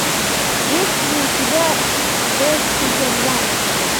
есть ли у тебя без удержания